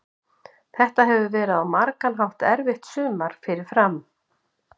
Þetta hefur verið á margan hátt erfitt sumar fyrir Fram.